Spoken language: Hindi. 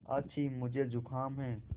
आछि मुझे ज़ुकाम है